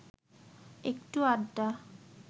একটু আড্ডা